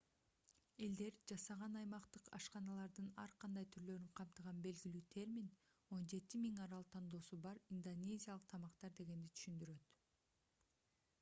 элдер жасаган аймактык ашканалардын ар кандай түрлөрүн камтыган белгилүү термин 17000 арал тандоосу бар индонезиялык тамактар дегенди түшүндүрөт